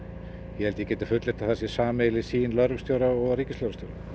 ég held ég geti fullyrt að það sé sameiginleg sýn lögreglustjóra og ríkislögreglustjóra